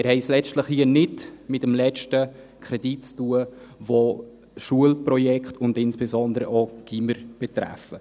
Wir haben es letztlich hier nicht mit dem letzten Kredit zu tun, der Schulprojekte und insbesondere auch Gymnasien betrifft.